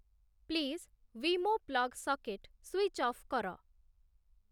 please ୱିମୋ plug socket switch off କର